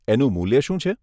એનું મૂલ્ય શું છે?